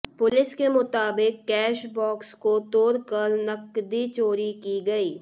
police के मुताबिक cash box को तोड़कर नकदी चोरी की गयी